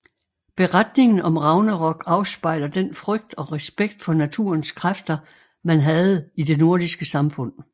Beretningen om Ragnarok afspejler den frygt og respekt for naturens kræfter man havde i det nordiske samfund